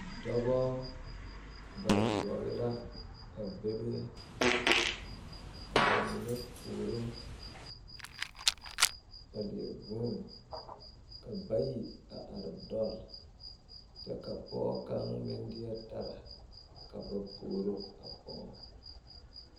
Dɔba ba yoɔbo la a bebe ka ba mine puoro a leɛ vuunne ka bayi a are dɔlle kyɛ ka pɔge kaŋ meŋ deɛ tara ka ba puoro a pɔge.